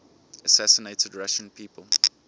assassinated russian people